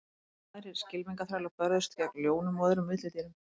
Enn aðrir skylmingaþrælar börðust gegn ljónum og öðrum villidýrum.